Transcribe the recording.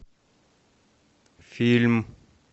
фильм